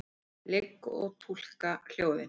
Ligg og túlka hljóðin.